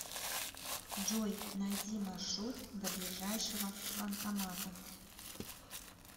джой найди маршрут до ближайшего банкомата